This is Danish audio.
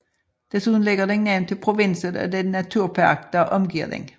Desuden lægger den navn til provinsen og den naturpark der omgiver den